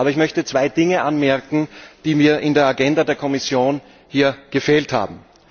Aber ich möchte zwei Dinge anmerken, die mir in der Agenda der Kommission hier gefehlt haben.